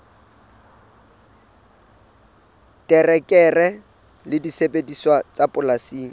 terekere le disebediswa tsa polasing